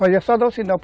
Fazia só dar o sinal.